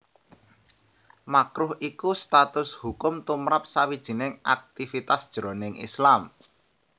Makruh iku status hukum tumrap sawijining aktivitas jroning Islam